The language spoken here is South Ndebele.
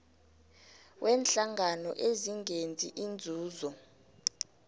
weenhlangano ezingenzi inzuzo